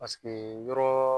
Paseke yɔrɔ